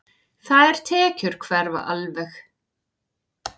Þær tekjur hverfa alveg.